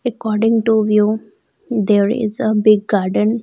According to view there is a big garden.